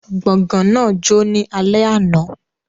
Gbọ̀gán náà jó ní alẹ́ àná